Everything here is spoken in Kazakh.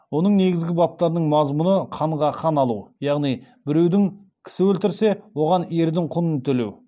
оның негізгі баптарының мазмұны қанға қан алу яғни біреудің кісісі өлтірілсе оған ердің құнын төлеу